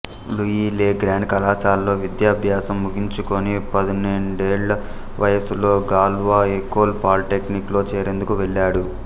Louis le Grand కళాశాలలో విద్యాభ్యాసం ముగించుకొని పదునేడేండ్ల వయస్సులో గాల్వా ఎకోల్ పాలిటెక్నిక్ లో చేరేందుకు వెళ్ళాడు